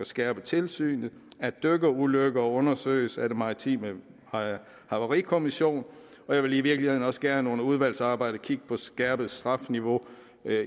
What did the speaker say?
skærpe tilsynet og at dykkerulykker undersøges af den maritime havarikommission og jeg vil i virkeligheden også gerne under udvalgsarbejdet kigge på et skærpet strafniveau